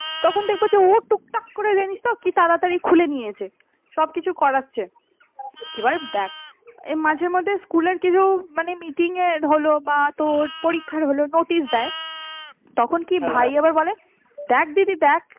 কি এত তাড়াতাড়ি খুলে নিয়েছে সবকিছু করাচ্ছে এবার দেখ এই মাঝে ধ্যে school এর কিছু মানে meeting এর বল বা তোর পরীক্ষার হল notice দেয় তখন কি ভাই এবার বলে দেখ দিদি দেখ